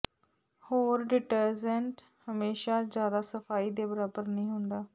ਹੋਰ ਡਿਟਰੇਜਟ ਹਮੇਸ਼ਾ ਜ਼ਿਆਦਾ ਸਫਾਈ ਦੇ ਬਰਾਬਰ ਨਹੀਂ ਹੁੰਦਾ